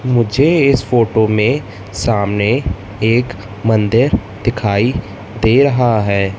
मुझे इस फोटो में सामने एक मंदिर दिखाई दे रहा है।